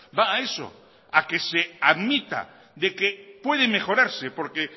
va a eso a que se admita de que puede mejorarse porque